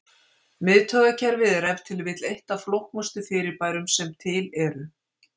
Miðtaugakerfið er ef til vill eitt af flóknustu fyrirbærum sem til eru.